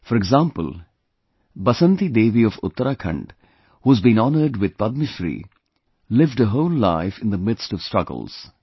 For example, Basanti Devi of Uttarakhand, who has been honored with Padma Shri, lived her whole life in the midst of struggles